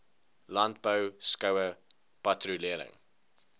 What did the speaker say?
landbou skoue patrolering